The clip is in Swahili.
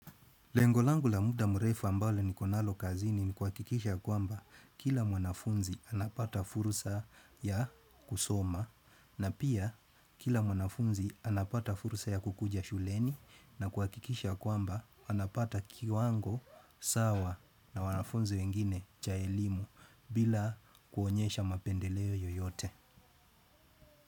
Lengo langu la muda mrefu ambalo niko nalo kazini ni kuhakikisha kwamba kila mwanafunzi anapata fursa ya kusoma na pia kila mwanafunzi anapata fursa ya kukuja shuleni na kuhakikisha kwamba anapata kiwango sawa na wanafunzi wengine cha elimu bila kuonyesha mapendeleo yoyote.